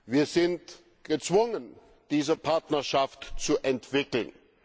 Wir sind gezwungen, diese Partnerschaft zu entwickeln.